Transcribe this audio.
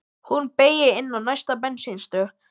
Hún beygir inn á næstu bensínstöð.